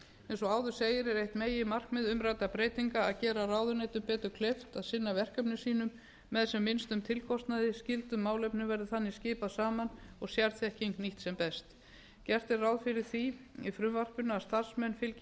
eins og áður segir er eitt meginmarkmið umræddra breytinga að gera ráðuneytum betur kleift að sinna verkefnum sínum með sem minnstum tilkostnaði skyldum málefnum verði þannig skipað saman og sérþekking nýtt sem best gert er ráð fyrir því í frumvarpinu að starfsmenn fylgi